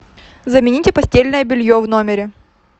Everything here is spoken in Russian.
замените постельное белье в номере